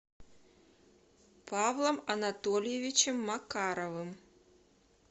павлом анатольевичем макаровым